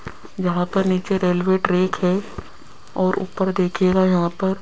यहां पर नीचे रेलवे ट्रैक है और ऊपर देखिएगा यहां पर--